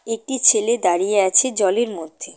একটি ছেলে দাঁড়িয়ে আছে জলের মধ্যে।